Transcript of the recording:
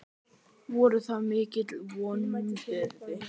Voru það mikil vonbrigði?